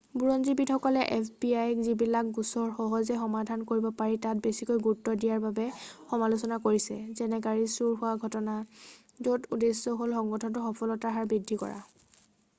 বুৰঞ্জীবিদসকলে fbiক যিবিলাক গোচৰ সহজে সমাধান কৰিব পাৰি তাত বেছিকৈ গুৰুত্ব দিয়াৰ বাবে সমালোচনা কৰিছে যেনে গাড়ী চুৰি হোৱা ঘটনা য'ত উদ্দেশ্যে হ'ল সংগঠনটোৰ সফলতাৰ হাৰ বৃদ্ধি কৰা।